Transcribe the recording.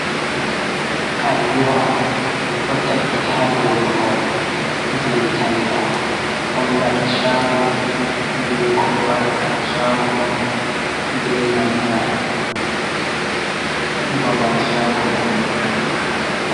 Alluha ɗo takki ha dou mahol jei talla, hollata shago be ko ɓe waɗata ha chago man, be nanta babal shago man woni.